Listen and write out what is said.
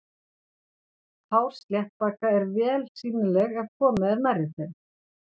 Hár sléttbaka eru vel sýnileg ef komið er nærri þeim.